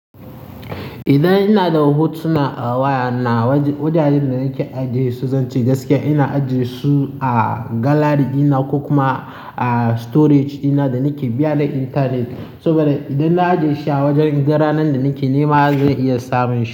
Idan ina da hotuna a waya na, wajajen da nake ajiyesu, zan ce gaskiya ina ajiye su a galari dina ko kuma a storage dina da nake biya da intanet. Saboda idan na ajiye shi a wajen, idan ranar da nake nema zai iya samun shi.